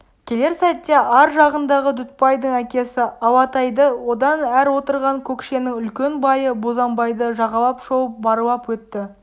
келер сәтте ар жағындағы дүтбайдың әкесі алатайды одан әр отырған көкшенің үлкен байы бозанбайды жағалап шолып барлап өтті